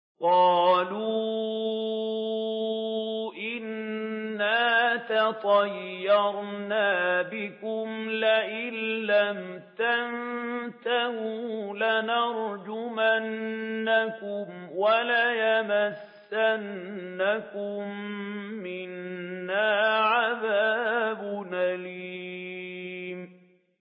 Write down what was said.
قَالُوا إِنَّا تَطَيَّرْنَا بِكُمْ ۖ لَئِن لَّمْ تَنتَهُوا لَنَرْجُمَنَّكُمْ وَلَيَمَسَّنَّكُم مِّنَّا عَذَابٌ أَلِيمٌ